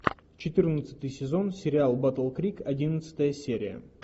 четырнадцатый сезон сериал батл крик одиннадцатая серия